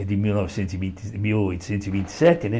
Que é de mil novecentos e vin mil oitocentos e vinte e sete, né?